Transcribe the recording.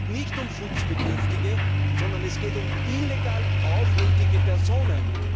Es geht nicht um Schutzbedürftige, sondern es geht um illegal aufhältige Personen!